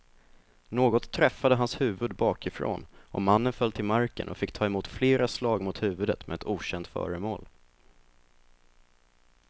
Något träffade hans huvud bakifrån och mannen föll till marken och fick ta emot flera slag mot huvudet med ett okänt föremål.